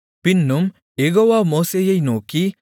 பின்னும் யெகோவா மோசேயை நோக்கி